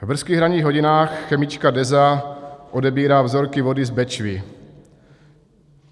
V brzkých ranních hodinách chemička Deza odebírá vzorky vody z Bečvy.